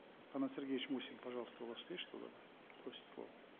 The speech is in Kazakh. канат сергеевич мусин пожалуйста у вас есть что добавить просит слово